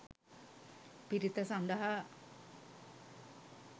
පිරිත සඳහා